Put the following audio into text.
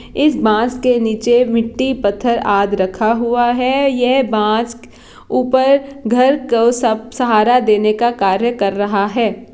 इस बांस के नीचे मिट्टी पत्थर आद रखा हुआ है यह बांस ऊपर घर का सब सहारा देने का कार्य कर रहा है।